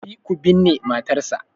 Tafi ku binne matarsa